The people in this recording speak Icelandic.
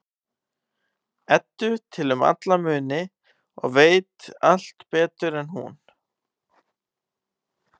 Eddu til um alla hluti og veit allt betur en hún.